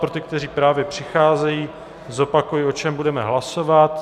Pro ty, kteří právě přicházejí, zopakuji, o čem budeme hlasovat.